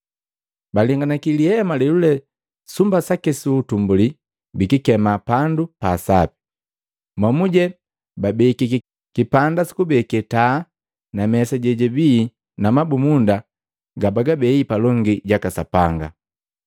Balenganaki lihema lelule sumba saki su utumbuli bikikemika Pandu pa Sapi. Momuje babekiki kipanda sukubeke taa na mesa jejibii na mabumunda gababei palongi jaka Sapanga.